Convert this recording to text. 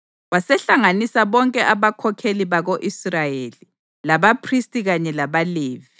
Wasehlanganisa bonke abakhokheli bako-Israyeli, labaphristi kanye labaLevi.